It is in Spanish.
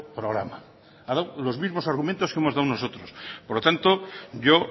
programa ha dado los mismos argumentos que hemos dado nosotros por lo tanto yo